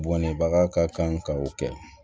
Bɔnɛbaga ka kan ka o kɛ